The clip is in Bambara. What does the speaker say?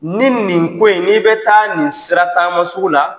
Ni nin ko in ni bɛ taa nin sera taama sugu la